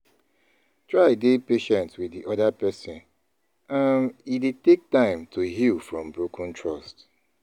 Try dey patient with di oda person, um e dey take time to heal from broken trust